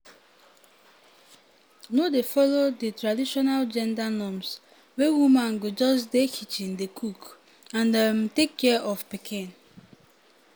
no dey follow di traditional gender norms wey woman go just dey kitchen dey cook and um take care of pikin.